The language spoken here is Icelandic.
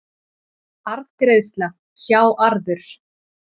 Arðgreiðsla, sjá arður